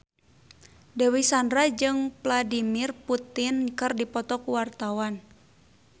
Dewi Sandra jeung Vladimir Putin keur dipoto ku wartawan